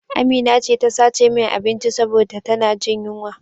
Amina ce ta sace min abinci saboda ta na jin yunwa